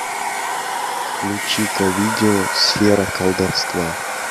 включи ка видео сфера колдовства